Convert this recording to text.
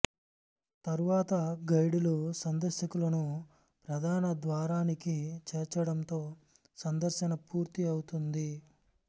తరువాత గైడులు సందర్శకులను ప్రధాన ద్వారానికి చేర్చడంతో సందర్శన పూర్తి అవుతుంది